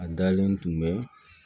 A dalen tun bɛ